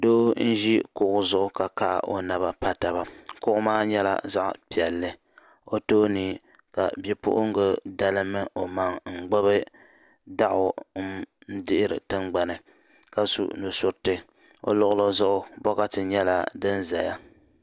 doo n ʒi kuɣu zuɣu ka kahi o naba pa taba kuɣu maa nyɛla zaɣa piɛlli o tooni ka bipuɣimbila dalim o maŋa n gbibi daɣu n dihiri tingbani ka su nusuriti o luɣuli zuɣu bokati nyɛla di zaya.